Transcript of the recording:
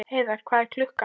Heiðar, hvað er klukkan?